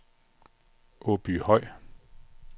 Åbyhøj